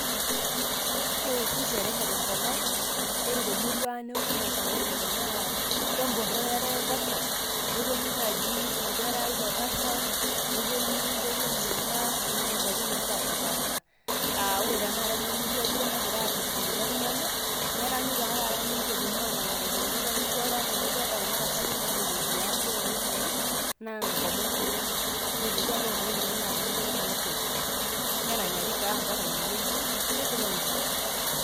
Kewoshi sherehe tenkop ang',ore temurua ang' newoshi ena sherehe tenaa kemporro eata oltasat, neponu naji inkera ilo tasat, neponu ntoyie enyanak oing'ua nkwapi napashipasha. Ah ore taa enamurua nagirai duo arreshu kulo tung'anak, neranyu ta taata ninche eponu anang'are kulikae, ore enaa nidolta kuna tasati epoito idialo oimai, naa nkomon kuna, ore lekua otii iimai na iltung'anak liopeny. Neranyari taa ampaka inewueji. Neshipai oleng'.